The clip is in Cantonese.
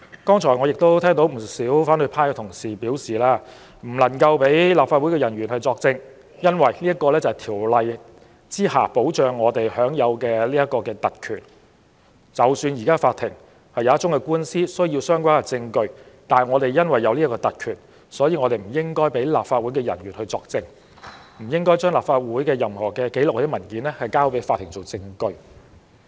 剛才我聽到不少反對派同事表示，不能讓立法會人員作證，因為我們在《條例》下享有的特權，即使有一宗官司需要相關證據，但因為我們有這種特權，所以不應讓立法會人員作證，或將立法會的任何紀錄或文件交給法庭作為證據。